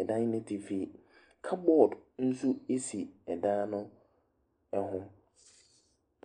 ɛdan no atifi. Cupboard nso si dan no ho.